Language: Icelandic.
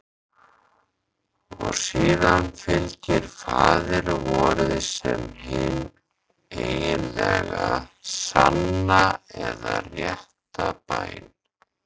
Og síðan fylgir Faðir vorið sem hin eiginlega, sanna eða rétta bæn.